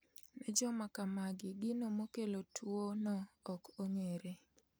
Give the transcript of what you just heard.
Ne joma kamagi gino mokelo tuo no ok ong'ere